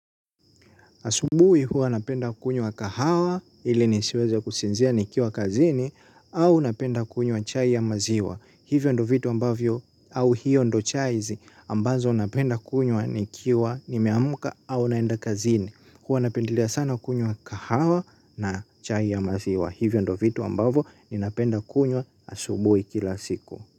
Asubuhi huwa napenda kunywa kahawa ili nisiweze kusinzia nikiwa kazini au napenda kunywa chai ya maziwa. Hivyo ndo vitu ambavyo au hiyo ndo chai ambazo napenda kunywa nikiwa nimeamka au naenda kazini. Huwa napendelea sana kunywa kahawa na chai ya maziwa. Hivyo ndo vitu ambavyo ninapenda kunywa asubuhi kila siku.